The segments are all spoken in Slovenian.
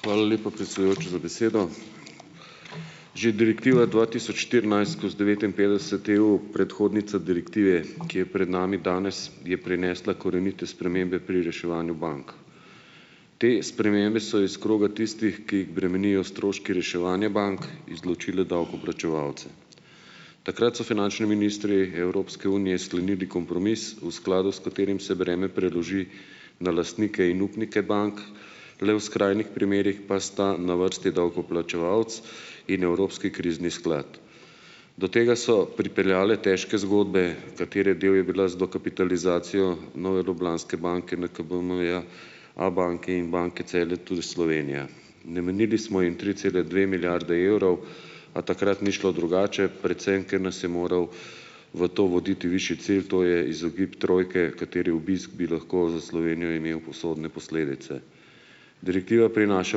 Hvala lepa, predsedujoči, za besedo. Že direktiva dva tisoč štirinajst skozi devetinpetdeset EU, predhodnica direktive, ki je pred nami danes, je prinesla korenite spremembe pri reševanju bank. Te spremembe so iz kroga tistih, ki jih bremenijo stroški reševanja bank, izločile davkoplačevalce. Takrat so finančni ministri Evropske unije sklenili kompromis, v skladu s katerim se breme preloži na lastnike in upnike bank, le v skrajnih primerih pa sta na vrsti davkoplačevalec in Evropski krizni sklad. Do tega so pripeljale težke zgodbe, katere del je bila z dokapitalizacijo Nove Ljubljanske banke, NKBM-ja, Abanke in Banke Celje tudi Slovenija. Namenili smo jim tri cele dve milijarde evrov, a takrat ni šlo drugače, predvsem ker nas je moral v to voditi višji cilj, to je izogib trojke, katere obisk bi lahko za Slovenijo imel usodne posledice. Direktiva prinaša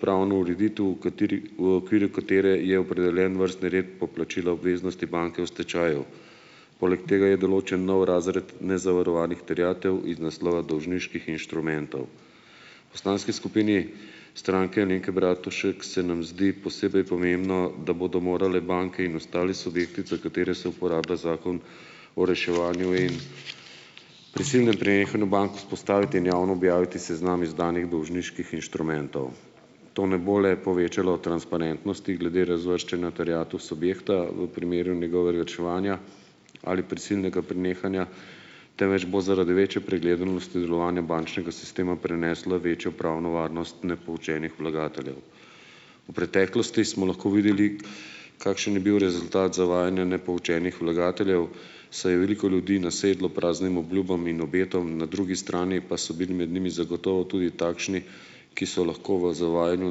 pravno ureditev, v kateri v okviru katere je opredeljen vrstni red poplačila obveznosti banke v stečaju. Poleg tega je določen nov razred nezavarovanih terjatev iz naslova dolžniških inštrumentov. Poslanski skupini Stranke Alenke Bratušek se nam zdi posebej pomembno, da bodo morale banke in ostali subjekti, za katere se uporablja Zakon o reševanju in prisilnem prenehanju bank, vzpostaviti in javno objaviti seznam izdanih dolžniških inštrumentov. To ne bo le povečalo transparentnosti glede razvrščanja terjatev subjekta v primeru njegovega reševanja ali prisilnega prenehanja, temveč bo zaradi večje preglednosti delovanja bančnega sistema prenesla večjo pravno varnost nepoučenih vlagateljev. V preteklosti smo lahko videli, kakšen je bil rezultat zavajanja nepoučenih vlagateljev, saj je veliko ljudi nasedlo praznim obljubam in obetom, na drugi strani pa so bili med njimi zagotovo tudi takšni, ki so lahko v zavajanju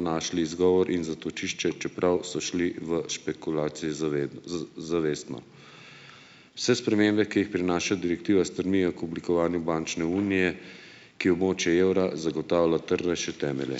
našli izgovor in zatočišče, čeprav so šli v špekulacije zavestno. Vse spremembe, ki jih prinaša direktiva, stremijo k oblikovanju bančne unije, ki območju evra zagotavlja trdnejše temelje.